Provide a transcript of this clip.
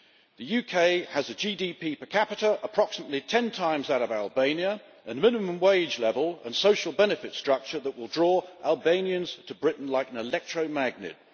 The UK has a GDP per capita approximately 10 times that of Albania and a minimum wage level and social benefit structure that will draw Albanians to Britain like an electromagnet.